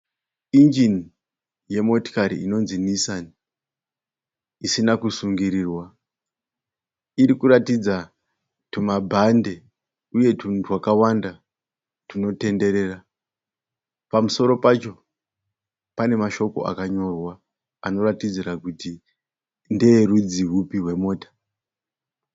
Injini yemotikati inonzi Nissan usina kusungirirwa. Iri kuratidza tumabhande uye tunhu twakawanda tunotenderera. Pamusoro pacho pane mashoko akanyorwa anoratidzira kuti ndeerudzi rwupi rwemota.